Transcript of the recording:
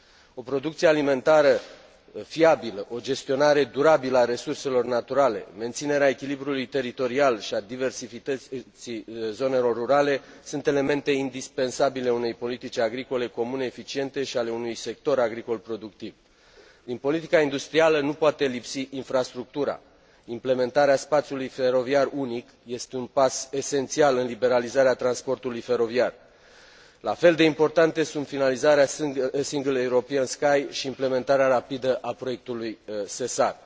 O producție alimentară fiabilă, o gestionare durabilă a resurselor naturale, menținerea echilibrului teritorial și a diversității zonelor rurale sunt elemente indispensabile unei politici agricole comune eficiente și ale unui sector agricol productiv Din politica industrială nu poate lipsi infrastructura. Implementarea spațiului feroviar unic este un pas esențial în liberalizarea transportului feroviar. La fel de importante sunt finalizarea Single European Sky și implementarea rapidă a proiectului SESAR.